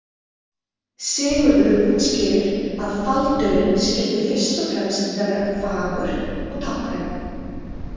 Sigurður útskýrir að faldurinn skyldi fyrst og fremst vera fagur og táknrænn.